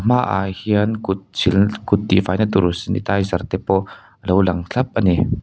hmaah hian kut silna kut tih fai na tur sanitizer te pawh alo lang thlap a ni.